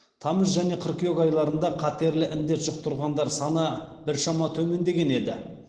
тамыз және қыркүйек айларында қатерлі індет жұқтырғандар саны біршама төмендеген еді